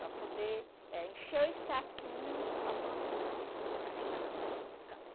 Para poder eh encher os saquinho para plantar a castanhinha. Ca